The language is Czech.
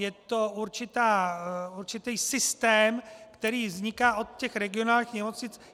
Je to určitý systém, který vzniká od těch regionálních nemocnic.